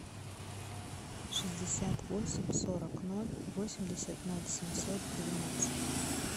шестьдесят восемь сорок ноль восемьдесят ноль семьсот двенадцать